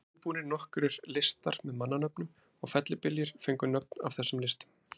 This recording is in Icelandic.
Það voru útbúnir nokkrir listar með mannanöfnum og fellibyljir fengu nöfn af þessum listum.